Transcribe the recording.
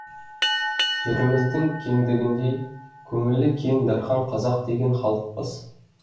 жеріміздің кеңдігіндей көңілі кең дархан қазақ деген халықпыз